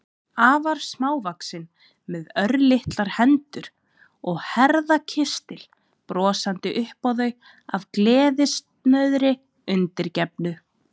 Afar smávaxin, með örlitlar hendur og herðakistil, brosandi upp á þau af gleðisnauðri undirgefni.